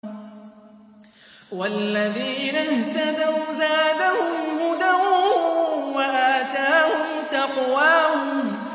وَالَّذِينَ اهْتَدَوْا زَادَهُمْ هُدًى وَآتَاهُمْ تَقْوَاهُمْ